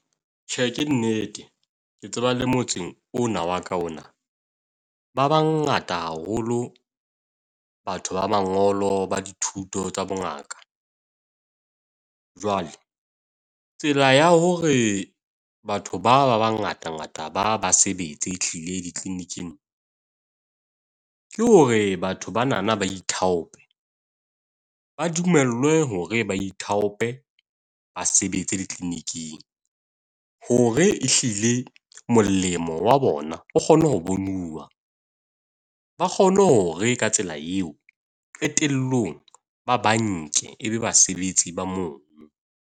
Tjhe, ke nnete, ke tseba le motseng ona wa ka ona. Ba bangata haholo batho ba mangolo ba dithuto tsa bongaka. Jwale tsela ya hore batho ba ba ba ngata ngata ba ba sebetse e hlile di-clinic-ing ke hore batho ba nana ba ithaope. Ba dumellwe hore ba ithaope ba sebetse di-clinic-ing hore e hlile molemo wa bona o kgone ho bonuwa. Ba kgone hore ka tsela eo qetellong ba ba nke ebe basebetsi ba mono.